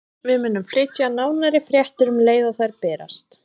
Við munum flytja nánari fréttir um leið og þær berast.